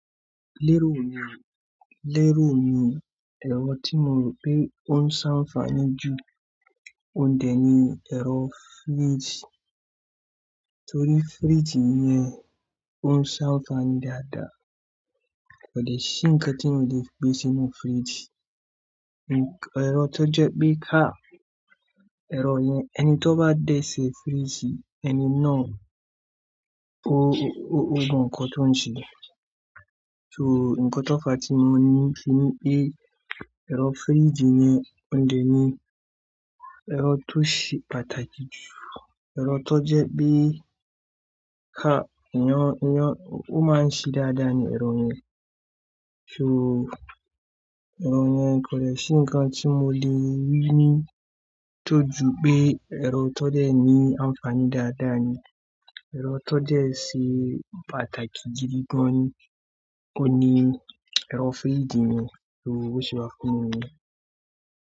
Lérò mi, lérò mi, ẹ̀rọ tí mo mọ̀ pé ó ń ṣàǹfààní jù òǹdẹ ni ẹ̀rọ fíríjì torí fíríjì yẹn ó ń ṣàǹfààní dáadáa. Kò dẹ́ṣi nǹkan tí teeyan o le gbé sínú fíríjì. Ẹ̀rọ tó jẹ pé á, ẹ̀rọ yẹn ẹni tó bá dé sí fíríjì ẹni náà ó, ó gun nǹkan tó ń ṣe. So nǹkan tó fàá tí mo ní ti ní pé ẹ̀rọ fíríjì yẹn ò ǹ dè ni, ẹ̀rọ tó ṣe pàtàkì jù, ẹ̀rọ tó jẹ pé ká, ìyàn, ìyàn, ó máa ń ṣi dáadáa ni ẹ̀rọ yẹn. So ẹ̀rọ yẹn kò dẹ́ṣi nǹkan tí mo le wí ní tó ju pé ẹ̀rọ tó dẹ̀ ní àǹfààní dáadáa ni, ẹ̀rọ tó jẹ́ ṣe pàtàkì gidi gan ni, ó ni ẹ̀rọ fíríjì mi so ó ṣe wá fún mi.